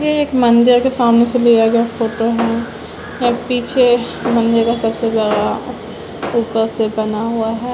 ये एक मंदिर के सामने से लिया गया फोटो है यहाँ पीछे मंदिर का सबसे बड़ा ऊपर से बना हुआ है।